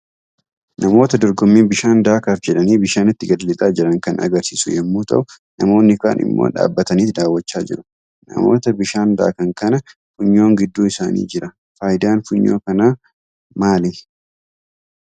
Namoota dorgommii bishaan daakaaf jedhanii bishaanitti gad lixaa jiran kan agarsiisu yommuu ta'u, namoonni kaan immoo dhaabbataniit daawwachaa jiru. Namoota bishaan daakan kana funyoon gidduu isaanii jira. Faayidaan funyoo kanaa maali?